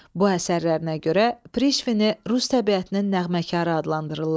Bu əsərlərinə görə Prişvini Rus təbiətinin nəğməkarı adlandırırlar.